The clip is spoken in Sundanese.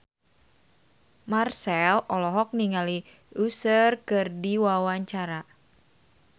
Marchell olohok ningali Usher keur diwawancara